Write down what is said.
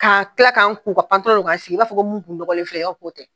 K'a kɛ ka tila ka n sigi i b'a fɔ mun tun nɔgɔlen filɛ nin ye k'o tɛ!